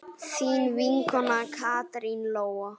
Þín vinkona Katrín Lóa.